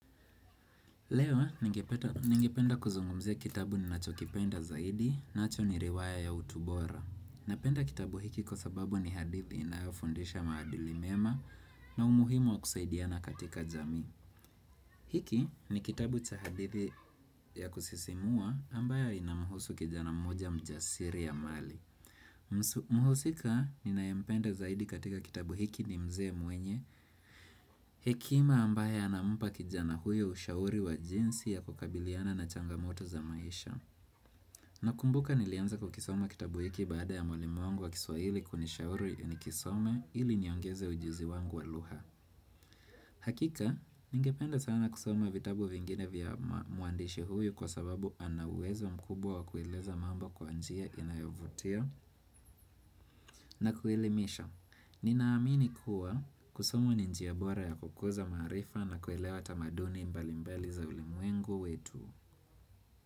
Lewa, ningependa kuzungumzia kitabu ninacho kipenda zaidi, nacho ni riwaya ya utu bora. Napenda kitabu hiki kwa sababu ni hadithi inayo fundisha maadili mema na umuhimu wa kusaidiana katika jamii. Hiki ni kitabu cha hadithi ya kusisimua ambayo inamhusu kijana mmoja mjasiri amali. Mhusika ninayempenda zaidi katika kitabu hiki ni mzee mwenye Hekima ambaye anampa kijana huyo ushauri wa jinsi ya kukabiliana na changamoto za maisha Nakumbuka nilianza kukisoma kitabu hiki baada ya mwalimu wangu wa kiswahili kunishauri nikisome ili niongeze ujuzi wangu wa lugha hakika, ningependa sana kusoma vitabu vingine vya mwandishi huyu kwa sababu ana uwezo mkubwa wa kueleza mambo kwa njia inayovutia na kuelimisha Ninaamini kuwa kusomu ni njia bora ya kukuza maarifa na kuelewa tamaduni mbali mbali za ulimuengu wetu.